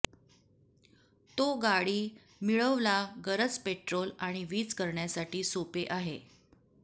तो गाडी मिळवला गरज पेट्रोल आणि वीज करण्यासाठी सोपे आहे